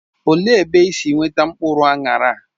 Olee ebe isi weta mkpụrụ aṅara a?